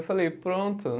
Eu falei, pronto.